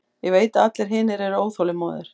Ég veit að allir hinir eru óþolinmóðir.